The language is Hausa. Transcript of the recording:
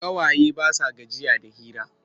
Ƙawaye ba sa gajiya da hira.